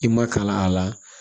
I ma kalan a la